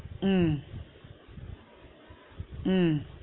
உம் உம்